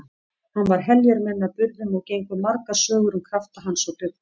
Hann var heljarmenni að burðum og gengu margar sögur um krafta hans og dugnað.